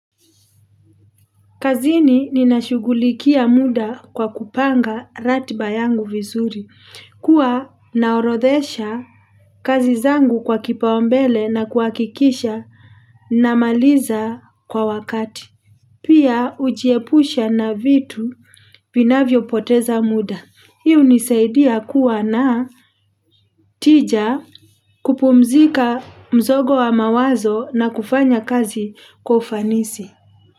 Kazini ninashugulikia muda kwa kupanga ratiba yangu vizuri, kuwa naorodhesha kazi zangu kwa kipaumbele na kuhakikisha namaliza kwa wakati. Pia hujiepusha na vitu vinavyopoteza muda. Hii hunisaidia kuwa na tija kupumzika mzogo wa mawazo na kufanya kazi kwa ufanisi.